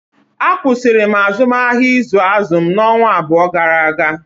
A kwụsịrị m azụmahịa ịzụ azụ m ọnwa abụọ gara aga